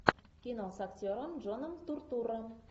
кино с актером джоном туртурро